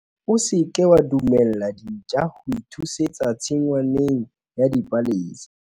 o se ke wa dumella dintja ho ithusetsa tshingwaneng ya dipalesa